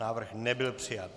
Návrh nebyl přijat.